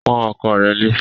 Pọ́n ọkọ rẹ lé!